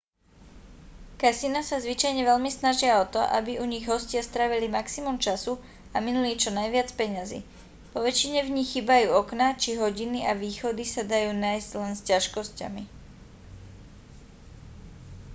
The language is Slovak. kasína sa zvyčajne veľmi snažia o to aby u nich hostia strávili maximum času a minuli čo najviac peňazí poväčšine v nich chýbajú okná či hodiny a východy sa dajú nájsť len s ťažkosťami